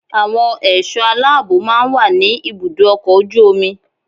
Àwọn ẹ̀ṣọ́ aláàbó máa ń wà ní ibùdó ọkọ̀ ojú omi.